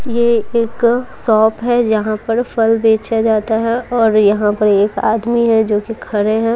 ये एक शॉप है यहां पर फल बेचा जाता है और यहां पर एक आदमी है जो कि खड़े हैं।